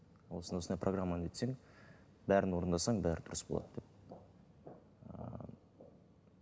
осындай осындай программаны өтсең бәрін орындасаң бәрі дұрыс болады деп